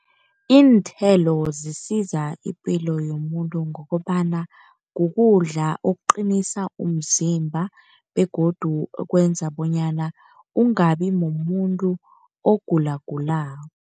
Iinthelo zisiza ipilo yomuntu ngokobana kukudla okuqinisa umzimba, begodu kwenza bonyana ungabi mumuntu ogulagulako.